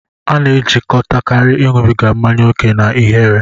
A na-ejikọtakarị ịṅụbiga mmanya ókè na ihere.